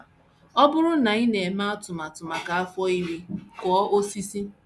Ọ bụrụ na ị na - eme atụmatụ maka afọ iri, kụọ osisi.